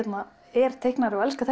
er teiknari og elska